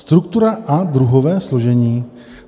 Struktura a druhové složení.